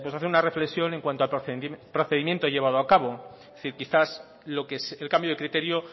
hacer una reflexión en cuanto al procedimiento llevado a cabo es decir quizás el cambio de criterio